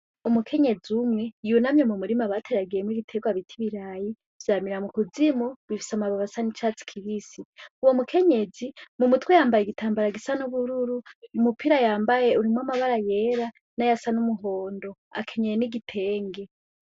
Umukenyezi umwe yunamye mu murima bateragiyemwo ibitegwa bita ibirayi, vyamira mu kuzimu bifise amababi asa n'icatsi kibisi, uwo mukenyezi mu mutwe yambaye igitambara gisa n'ubururu, umupira yambaye urimwo amabara yera n'ayasa n'umuhondo, akenyeye n'igitenge.